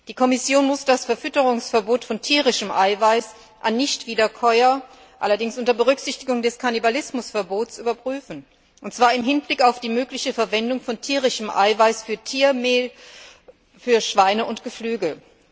Die Kommission muss das Verfütterungsverbot von tierischem Eiweiß an Nichtwiederkäuer allerdings unter Berücksichtigung des Kannibalismusverbots überprüfen, und zwar im Hinblick auf die mögliche Verwendung von tierischem Eiweiß für Tiermehl für Schweine und Geflügel.